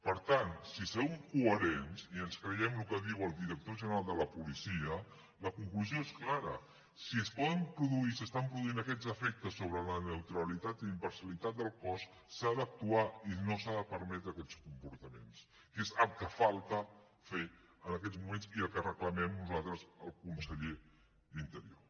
per tant si som coherents i ens creiem el que diu el director general de la policia la conclusió és clara si es poden produir i s’estan produint aquests efectes sobre la neutralitat i imparcialitat del cos s’ha d’actuar i no s’han de permetre aquests comportaments que és el que falta fer en aquests moments i el que reclamem nosaltres al conseller d’interior